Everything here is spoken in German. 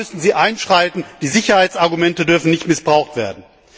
Da müssen Sie einschreiten, die Sicherheitsargumente dürfen nicht missbraucht werden.